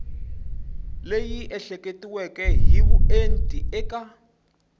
leyi ehleketiweke hi vuenti eka